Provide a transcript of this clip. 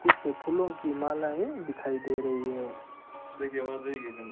कुछ फूलों की मालायें दिखाई दे रही है --